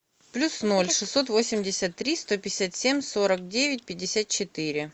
плюс ноль шестьсот восемьдесят три сто пятьдесят семь сорок девять пятьдесят четыре